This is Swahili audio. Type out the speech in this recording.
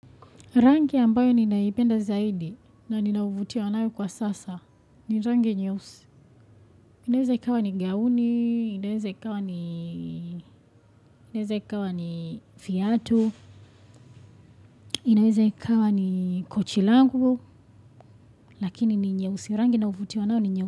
Rangi ambayo ninaipenda zaidi na ninavutiwa nayo kwa sasa ni rangi nyeusi. Inaweza ikawa ni gauni, inaweza ikawa ni inaweza ikawa ni viatu, inaweza ikawa ni kochi langu, lakini ni nyeusi. Rangi nayovutiwa nayo ni nyeusi.